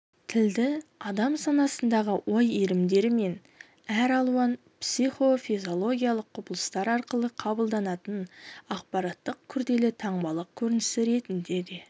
тілді адам санасындағы ой иірімдері мен әр алуан психофизиологиялық құбылыстар арқылы қабылданатын ақпараттардың күрделі таңбалық көрінісі ретінде де